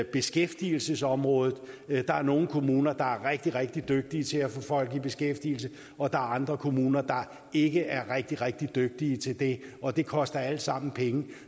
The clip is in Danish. beskæftigelsesområdet der er nogle kommuner der er rigtig rigtig dygtige til at få folk i beskæftigelse og der er andre kommuner der ikke er rigtig rigtig dygtige til det og det koster alt sammen penge